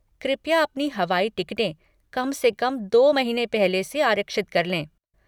कृपया अपनी हवाई टिकटें कम से कम दो महीने पहले से आरक्षित कर लें।